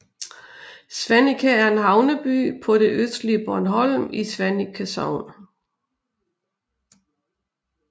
Svaneke er en havneby på det østlige Bornholm i Svaneke Sogn